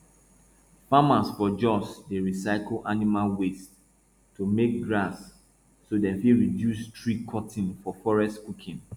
farmers for jos dey recycle animal waste to make gas so dem fit reduce tree cutting for forest cooking